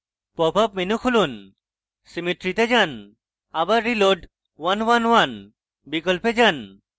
popup menu খুলুন symmetry তে যান আবার reload {1 1 1} বিকল্পে যান